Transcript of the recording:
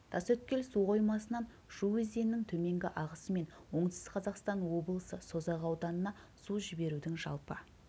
тасөткел суқоймасынан шу өзенінің төменгі ағысы мен оңтүстік қазақстан облысы созақ ауданына су жіберудың жалпы